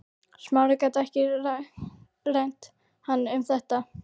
Smári gat ekki rengt hann um þetta.